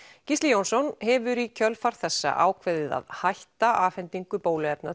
Gísli Jónsson hefur í kjölfar þessa ákveðið að hætta afhendingu bóluefna